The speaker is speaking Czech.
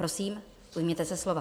Prosím, ujměte se slova.